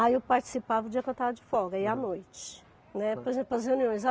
Aí eu participava o dia que eu estava de folga ia à noite, né, por exemplo as reuniões.